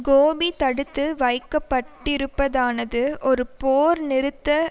கோபி தடுத்து வைக்கப்பட்டிருப்பதானது ஒரு போர் நிறுத்த